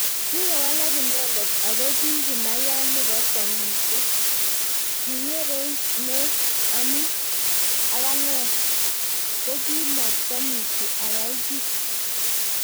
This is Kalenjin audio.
kikowalak inenet ako kikimayat nebokwongutiet kinyerench ne ya amu ak anee kokimatomuchi ayai kiiy